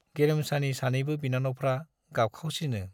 गेरेमसानि सानैबो बिनानावफ्रा गाबखावसिनो।